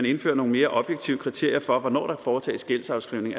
indfører nogle mere objektive kriterier for hvornår der kan foretages gældsafskrivning